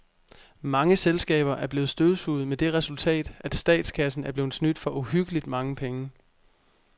Mange selskaber er blevet støvsuget med det resultat, at statskassen er blevet snydt for uhyggeligt mange penge.